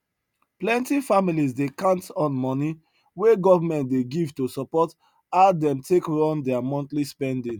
plenty families dey count on money wey government dey give to support how dem take run their monthly spending